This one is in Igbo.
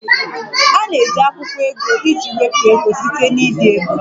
A na-eji akwụkwọ ego iji wepụ ego site na ide ego